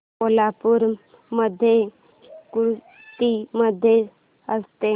कोल्हापूर मध्ये कुस्ती कधी असते